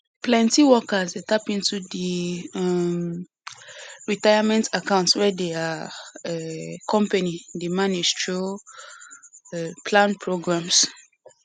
plenty workers dey tap into di um retirement accounts wey their um company dey manage through um plan programs